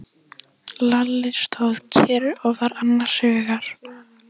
Lalli stóð kyrr og var annars hugar.